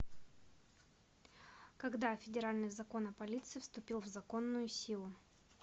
когда федеральный закон о полиции вступил в законную силу